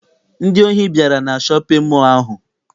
Ndị ohi bịara na shọpịn mọọ ahụ.